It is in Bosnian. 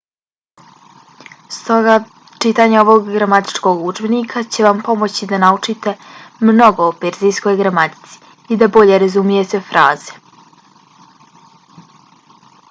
stoga čitanje ovog gramatičkog udžebnika će vam pomoći da naučite mnogo o perzijskoj gramatici i da bolje razumijete fraze